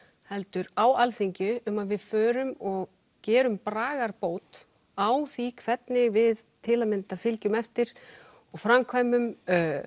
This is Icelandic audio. heldur á Alþingi um að við förum og gerum bragarbót á því hvernig við til að mynda fylgjum eftir og framkvæmum